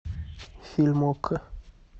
фильм окко